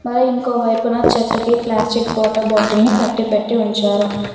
అలాగే ఇంకో వైపున చెట్టుకి ప్లాస్టిక్ వాటర్ బాటిల్ ని కట్టిపెట్టి ఉంచారు.